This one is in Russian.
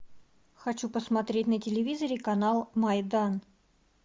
хочу посмотреть на телевизоре канал майдан